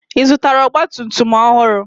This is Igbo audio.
Ị zụtara ọgba tum tum ọhụrụ?